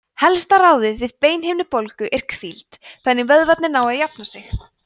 helsta ráðið við beinhimnubólgu er hvíld þannig að vöðvarnir nái að jafna sig